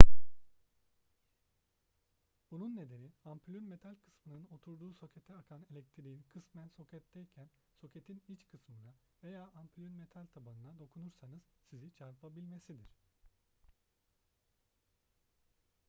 bunun nedeni ampulün metal kısmının oturduğu sokete akan elektriğin kısmen soketteyken soketin iç kısmına veya ampulün metal tabanına dokunursanız sizi çarpabilmesidir